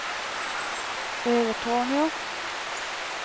Övertorneå